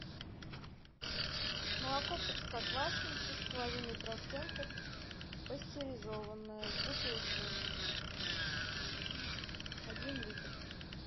молоко простоквашино три с половиной процента пастеризованное в бутылке один литр